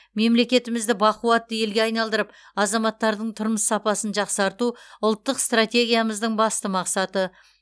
мемлекетімізді бақуатты елге айналдырып азаматтардың тұрмыс сапасын жақсарту ұлттық стратегиямыздың басты мақсаты